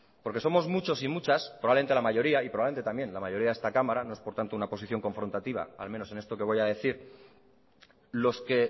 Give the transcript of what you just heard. porque somos muchos y muchas probablemente la mayoría y probablemente también la mayoría de esta cámara no es por tanto una posición confrontantiva al menos en esto que voy a decir los que